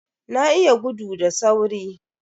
Na iya gudu da sauri.